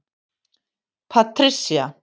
Patricia